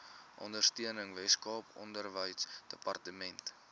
ondersteuning weskaap onderwysdepartement